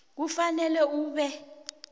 kufanele ube